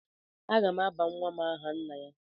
Aga m aba nwa m aha nna ya.